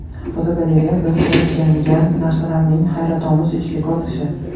Fotogalereya: Biz o‘rgangan narsalarning hayratomuz ichki ko‘rinishi.